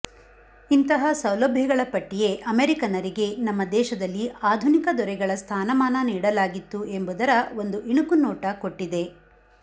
ಇಂತಹ ಸೌಲಭ್ಯಗಳ ಪಟ್ಟಿಯೇ ಅಮೆರಿಕನ್ನರಿಗೆ ನಮ್ಮ ದೇಶದಲ್ಲಿ ಆಧುನಿಕ ದೊರೆಗಳ ಸ್ಥಾನಮಾನ ನೀಡಲಾಗಿತ್ತು ಎಂಬುದರ ಒಂದು ಇಣುಕುನೋಟ ಕೊಟ್ಟಿದೆ